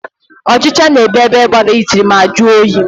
Ọchịcha na-ebi ebe gbara itiri ma jụọ oyi.